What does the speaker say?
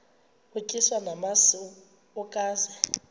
utyiswa namasi ukaze